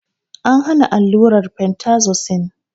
An hana allurar fentazosin